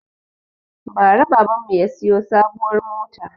Bara baban mu ya siyo sabuwar mota